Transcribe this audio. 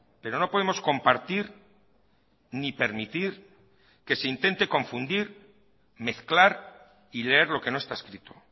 pero no podemos compartir ni permitir que se intente confundir mezclar y leer lo que no está escrito